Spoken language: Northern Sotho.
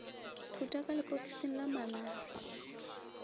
khuta ka lepokising la malahla